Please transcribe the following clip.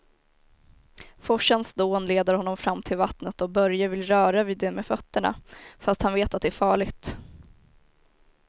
Forsens dån leder honom fram till vattnet och Börje vill röra vid det med fötterna, fast han vet att det är farligt.